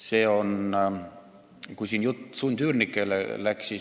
Siin oli juttu sundüürnikest.